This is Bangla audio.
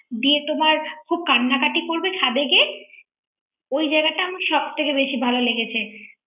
দিয়ে তোমার খুব কান্নাকাটি করবে ছাদে গিয়ে ওই জায়গাটা আমার সব থেকে বেশি ভালো লেগেছে